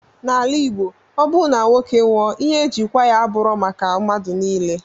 Na ala igbo ọbu na nwoke nwụọ ihe eji kwa ya aburọ maka madu nile.